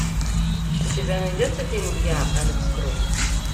у тебя найдется фильм я алекс кросс